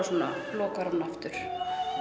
lokar hún aftur